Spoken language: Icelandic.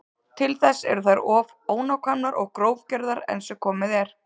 Til þess eru þær of ónákvæmar og grófgerðar enn sem komið er.